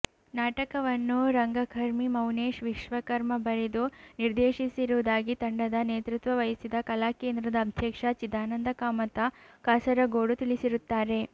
ನಾಟಕವನ್ನು ರಂಗಕರ್ಮಿ ಮೌನೇಶ್ ವಿಶ್ವಕರ್ಮ ಬರೆದು ನಿರ್ದೇಶಿಸಿರುವುದಾಗಿ ತಂಡದ ನೇತೃತ್ವ ವಹಿಸಿದ ಕಲಾಕೇಂದ್ರದ ಅಧ್ಯಕ್ಷ ಚಿದಾನಂದ ಕಾಮತ ಕಾಸರಗೋಡು ತಿಳಿಸಿರುತ್ತಾರೆ